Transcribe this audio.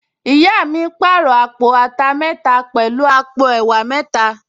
Ìyá mi pàrọ̀ àpò ata mẹ́ta pẹ̀lú àpò ẹ̀wà mẹ́ta